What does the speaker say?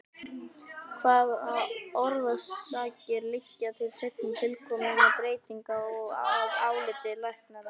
Hvaða orsakir liggja til seinna tilkominna breytinga að áliti læknaráðs?